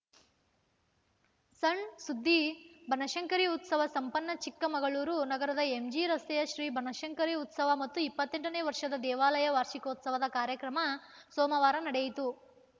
ಸಣ್‌ ಸುದ್ದಿ ಬನಶಂಕರಿ ಉತ್ಸವ ಸಂಪನ್ನ ಚಿಕ್ಕಮಗಳೂರು ನಗರದ ಎಂಜಿ ರಸ್ತೆಯ ಶ್ರೀ ಬನಶಂಕರಿ ಉತ್ಸವ ಮತ್ತು ಇಪ್ಪತ್ತೆಂಟನೇ ವರ್ಷದ ದೇವಾಲಯ ವಾರ್ಷಿಕೋತ್ಸವ ಕಾರ್ಯಕ್ರಮ ಸೋಮವಾರ ನಡೆಯಿತು